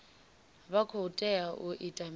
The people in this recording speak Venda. vha khou tea u ita mini